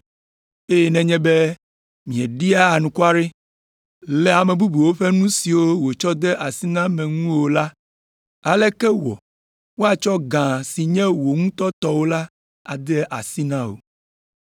Eye nenye be mieɖia anukware le ame bubuwo ƒe nu siwo wotsɔ de mia si me ŋu o la, aleke wɔ woatsɔ gã si nye wò ŋutɔ tɔwò la ade asi na wò?